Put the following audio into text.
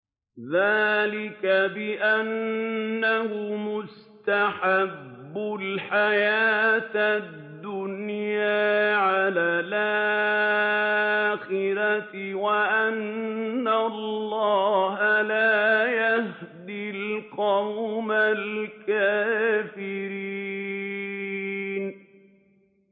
ذَٰلِكَ بِأَنَّهُمُ اسْتَحَبُّوا الْحَيَاةَ الدُّنْيَا عَلَى الْآخِرَةِ وَأَنَّ اللَّهَ لَا يَهْدِي الْقَوْمَ الْكَافِرِينَ